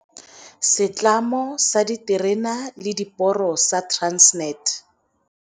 Setlamo sa Diterene le Diporo sa Transnet.